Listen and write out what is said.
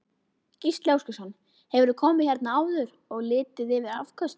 Gísli Óskarsson: Hefurðu komið hérna áður og litið yfir afköstin?